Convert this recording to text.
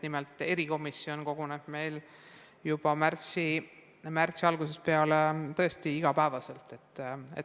Nimelt, erikomisjon koguneb juba märtsi algusest peale tõesti iga päev.